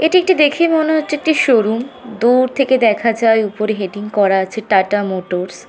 এটি একটি দেখেই মনে হচ্ছে একটি শোরুম । দূর থেকে দেখা যায় উপরে হেডিং করা আছে টাটা মোটরস ।